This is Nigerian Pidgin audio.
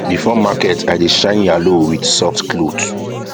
before market i dey shine yalo with soft cloth